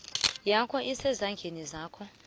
yakho isezandleni zakho